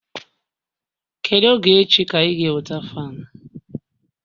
Kedu oge echi ka ị ga-eweta fan